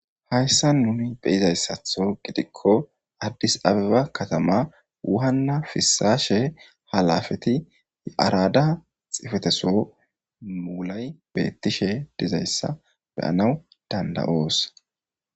Hayssa nuni beyizayssatho gidikko addis abiba katama wuhanna fissaashe halafeti y7arada xifeteso mulay beettishe dizayssa beyanaw danda7oos.